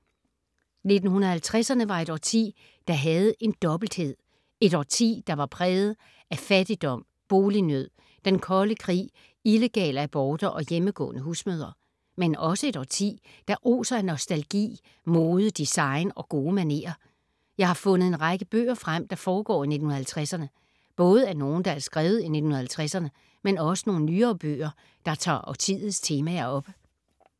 1950’erne var et årti, der havde en dobbelthed. Et årti der var præget af fattigdom, bolignød, Den kolde krig, illegale aborter og hjemmegående husmødre. Men også et årti der oser af nostalgi, mode, design og gode manerer. Jeg har fundet en række bøger frem, der foregår i 1950’erne. Både nogle, der er skrevet i 1950’erne, men også nogle nyere bøger, der tager årtiets temaer op.